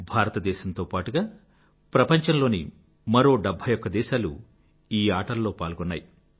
భారతదేశంతో పాటుగా ప్రపంచంలోని మరో 71దేశాలు ఈ ఆటలలో పాల్గొన్నాయి